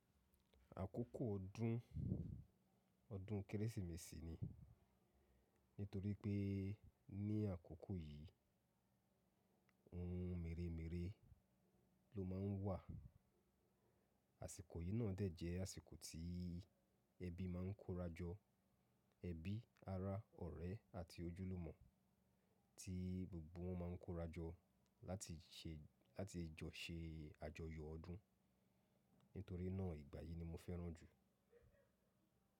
Àkókò ọdún, ọdún kérésìmesì ni. Nítorí pé ní àkókò yìí ohun mèremère ló má ń wà. Àsìkò yìí náà dẹ̀ jẹ́ àsìkò tí ẹbí má ń kórajo. Ẹbí, ará, ọ̀rẹ́ àti ojúlùmọ̀ tí gbogbo wọn má ń kórajo láti jọ ṣe àjọyọ̀ ọdún. Nítorí náà ìgbà yìí ni mo fẹ́ràn jù.